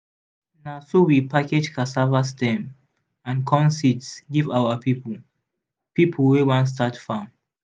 na so we package cassava stem and corn seeds give our people people wey wan start farm.